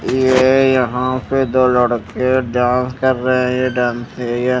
ये यहा पे दो लड़के डांस कर रहे है ये डांस है ये--